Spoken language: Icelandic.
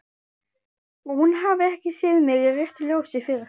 Og hún hafi ekki séð mig í réttu ljósi fyrr.